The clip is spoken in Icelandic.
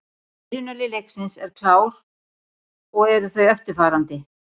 Byrjunarlið leiksins eru klár og eru þau eftirfarandi: